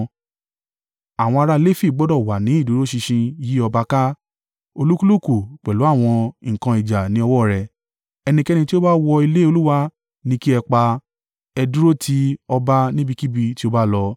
Àwọn ará Lefi gbọdọ̀ wà ní ìdúró ṣinṣin yí ọba ká. Olúkúlùkù pẹ̀lú àwọn nǹkan ìjà ní ọwọ́ rẹ̀. Ẹnikẹ́ni tí ó bá wọ ilé Olúwa ni kí ẹ pa. Ẹ dúró ti ọba níbikíbi tí ó bá lọ.”